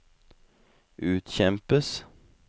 utkjempes